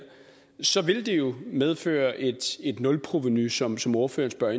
så ville det jo medføre et nulprovenu som som ordføreren spørger